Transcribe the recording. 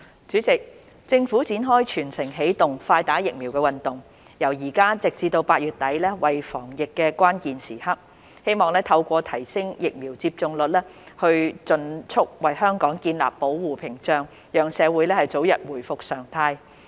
主席，政府展開"全城起動，快打疫苗"運動，由現在直至8月底為防疫關鍵時刻，希望透過提升疫苗接種率，盡速為香港建立保護屏障，讓社會早日回復常態。